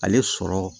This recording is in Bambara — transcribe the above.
Ale sɔrɔ